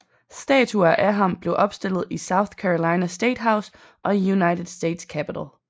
Statuer af ham blev opstillet i South Carolina State House og i United States Capitol